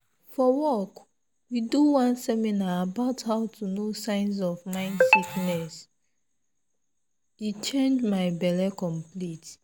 for wok we do one seminar about how to know signs of mind sickness!! e change my belle complete